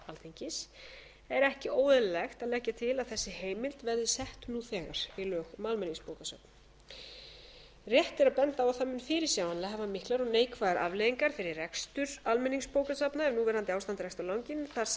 alþingis er ekki óeðlilegt að leggja til að þessi heimild verði sett nú þegar í lög um almenningsbókasöfn rétt er að benda á að það mun fyrirsjáanlega hafa miklar og neikvæðar afleiðingar fyrir rekstur almenningsbókasafna ef núverandi ástand dregst á langinn þar sem söfnin kunna